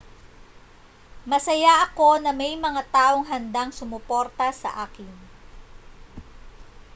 masaya ako na may mga taong handang sumuporta sa akin